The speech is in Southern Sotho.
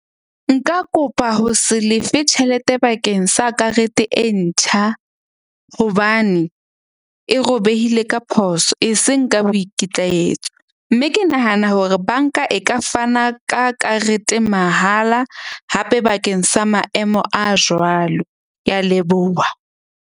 Nka kopa ho se lefe tjhelete bakeng sa karete e ntjha. Hobane e robehile ka phoso, e seng ka boikitlaetso. Mme ke nahana hore bank-a e ka fana ka karete mahala hape bakeng sa maemo a jwalo. Ke a leboha.